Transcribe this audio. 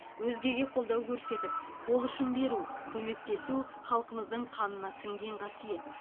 өзгеге қолдау көрсетіп қол ұшын беру көмектесу халқымыздың қанына сіңген қасиет